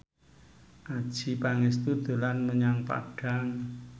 Adjie Pangestu dolan menyang Padang